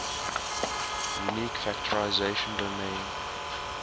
unique factorization domain